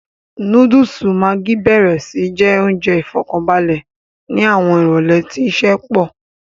Núdùùsù maggi béèrè sí jẹ́ oúnjẹ ìfọ̀kànbalẹ̀ ni àwọn ìrólé tí iṣẹ́ pọ̀